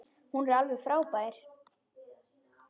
Hún er alveg frábær.